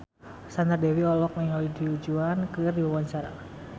Sandra Dewi olohok ningali Du Juan keur diwawancara